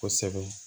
Kosɛbɛ